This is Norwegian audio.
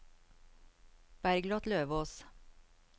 Bergliot Løvås